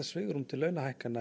svigrúm til launahækkana